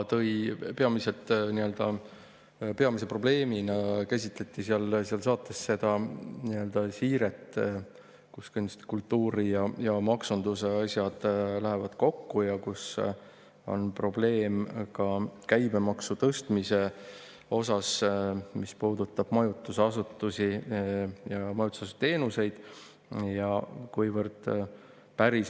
Peamise probleemina käsitleti seal saates seda nii‑öelda siiret, kus kultuuri ja maksunduse asjad lähevad kokku ja kus on probleem ka käibemaksu tõstmisega, mis puudutab majutusasutusi ja majutusteenuseid.